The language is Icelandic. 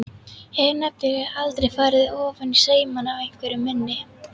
Hef nefnilega aldrei farið ofaní saumana á einveru minni.